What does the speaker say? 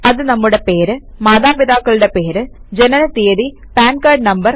അത് നമ്മുടെ പേര് മാതാപിതാക്കളുടെ പേര് ജനന തീയതി പാൻ കാർഡ് നം